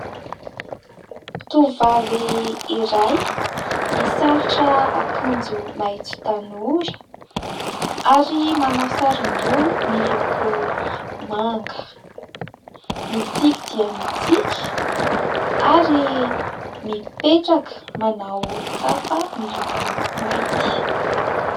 Tovovavy iray misalotra akanjo maitso tanora ary manao saron-doha miloko manga. Mitsiky dia mitsiky ary mipetraka manao kapa miloko mainty.